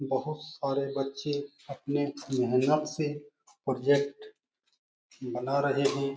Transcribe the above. बहुत सारे बच्चे अपने मेहनत से प्रोजेक्ट बना रहे हैं।